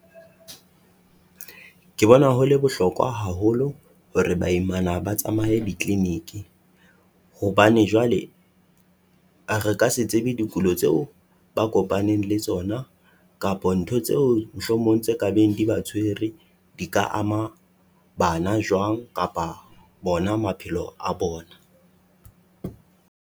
Ke bona ho le bohlokwa haholo hore baimana ba tsamaye di-clinic-e, hobane jwale a re ka se tsebe dikulo tseo ba a kopaneng le tsona kapa ntho tseo mohlomong tse ka beng di ba tshwere, di ka ama bana jwang kapa bona maphelo a bona.